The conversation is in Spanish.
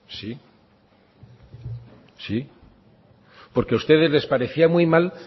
sí porque a ustedes les parecía muy mal